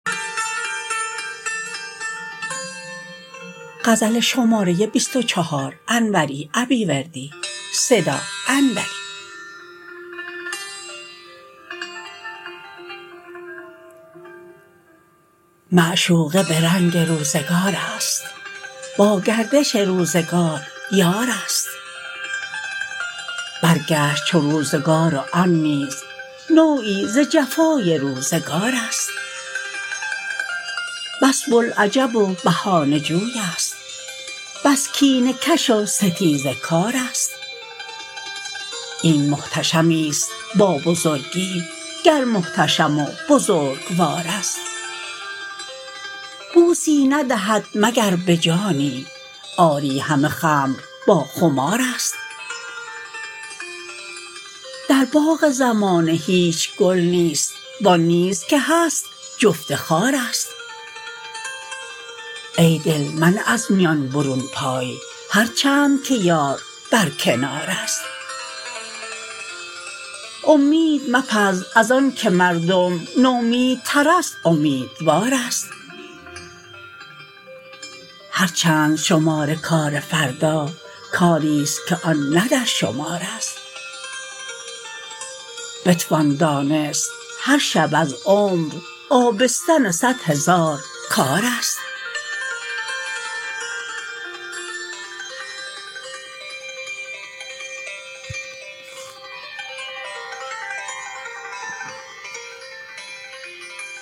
معشوقه به رنگ روزگارست با گردش روزگار یارست برگشت چو روزگار و آن نیز نوعی ز جفای روزگارست بس بوالعجب و بهانه جوی ست بس کینه کش و ستیزه کارست این محتشمی ست با بزرگی گر محتشم و بزرگوارست بوسی ندهد مگر به جانی آری همه خمر با خمارست در باغ زمانه هیچ گل نیست وآن نیز که هست جفت خارست ای دل منه از میان برون پای هر چند که یار بر کنارست امید مپز از آن که مردم نومیدترست امیدوارست هر چند شمار کار فردا کاری ست که آن نه در شمارست بتوان دانست هر شب از عمر آبستن صد هزار کارست